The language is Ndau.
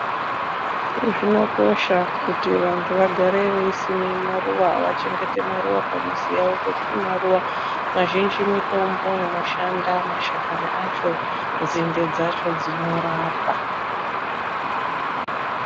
Zvinokosha kuti vantu vagare veisima maruva, vachengete maruva pamizi yavo ngekuti maruva mazhinji mitombo inoshanda mashakani acho, nzinde dzacho, dzinorapa.